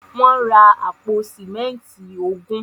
Wọ́n ra àpò símẹ́ńtì ogún.